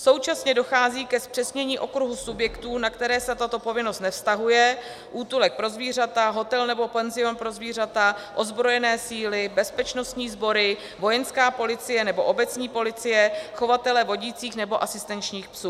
Současně dochází ke zpřesnění okruhu subjektů, na které se tato povinnost nevztahuje - útulek pro zvířata, hotel nebo penzion pro zvířata, ozbrojené síly, bezpečnostní sbory, vojenská policie nebo obecní policie, chovatelé vodících nebo asistenčních psů.